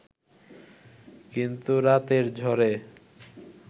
কিন্তু রাতের ঝড়ে